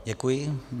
Děkuji.